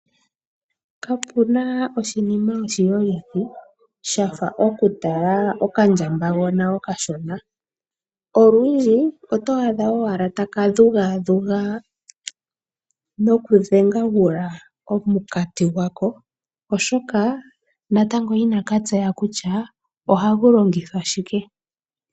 Kapena oshinima oshiyolithi shafa totala okandjambagona okashona. Olundji oto adha owala taka dhugaadhuga nokudhengagula omukati gwako oshoka natango inakatseya kutya ohagu longithwa shike.